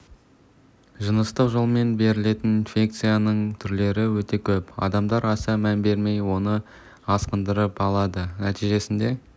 жыныстық жолмен берілетін инфекцияның түрлері өте көп адамдар аса мән бермей оны асқындырып алады нәтижесінде